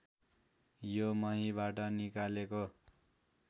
यो महीबाट निकालेको